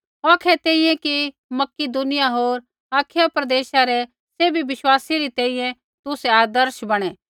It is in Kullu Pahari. औखै तैंईंयैं कि मकिदुनिया होर अखायै प्रदेशा रै सैभी विश्वासी री तैंईंयैं तुसै आदर्श बैणै